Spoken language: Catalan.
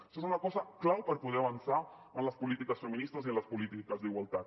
això és una cosa clau per poder avançar en les polítiques feministes i en les polítiques d’igualtat